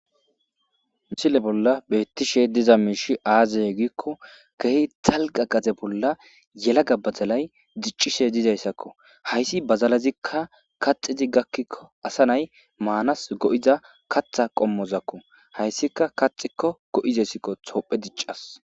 Missile bola betishe diza mishi aze giko kehi dalga gade bola yelaga badalay dic'ishe dizaysako haysi badalazika kaxidi gakiko asa na'i manas go'za kata qomozako haysika haysika kaxiko go'izaysi tophey dic'as.